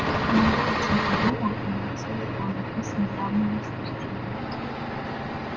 командор о чём-то думал и на лице его написано явное наслаждение